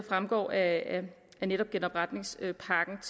fremgår af netop genopretningspakken